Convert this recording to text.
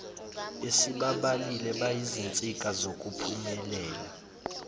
esibabalile bayizinsika zokuphumelela